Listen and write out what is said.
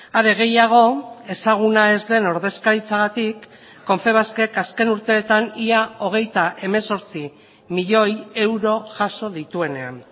are gehiago ezaguna ez den ordezkaritzagatik confebaskek azken urteetan ia hogeita hemezortzi milioi euro jaso dituenean